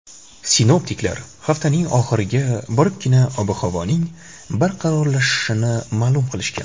Sinoptiklar haftaning oxiriga boribgina ob-havoning barqarorlashishini ma’lum qilishgan.